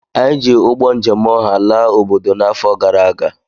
Anyị ji ụgbọ njem ọha laa obodo n'afọ gara aga